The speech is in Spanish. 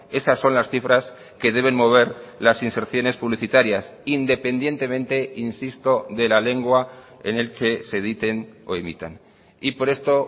esas son las cifras que deben mover las inserciones publicitarias independientemente insisto de la lengua en el que se editen o emitan y por esto